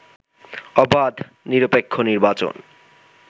অবাধ, নিরপেক্ষ নির্বাচন